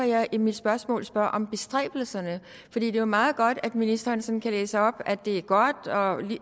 jeg i mit spørgsmål spørger om bestræbelserne det er jo meget godt at ministeren sådan kan læse op at det er godt og